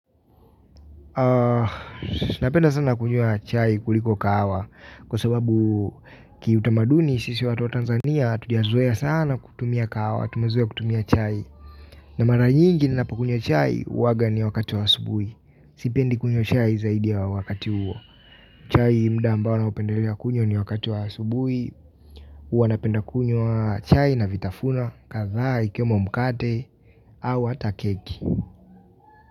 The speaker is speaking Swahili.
Napenda sana kunywa chai kuliko kahawa kwa sababu kiutamaduni sisi watu wa Tanzania hatujazoea sana kutumia kahawa, tumezoea kutumia chai. Na mara nyingi ninapo kunywa chai huwaga ni wakati wa asubuhi, sipendi kunywa chai zaidi ya wakati huo. Chai muda ambao naupendelea kunywa ni wakati wa asubuhi huwa napenda kunywa chai na vitafunwa, kadhaa, ikiwemo mkate, au hata keki.